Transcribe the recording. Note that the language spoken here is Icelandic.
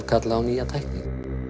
kalla á nýja tækni